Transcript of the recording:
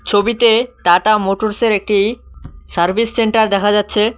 ছবিতে টাটা মোটরসের একটি সার্ভিস সেন্টার দেখা যাচ্ছে।